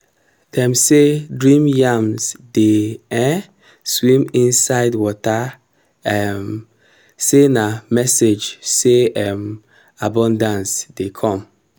dem say dream yams dey um swim inside water um say na message say um abundance dey come.